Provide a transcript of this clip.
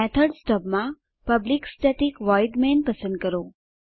method stub માં public static void main પસંદ કરો